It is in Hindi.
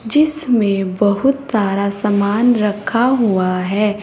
जिसमें बहुत सारा सामान रखा हुआ है।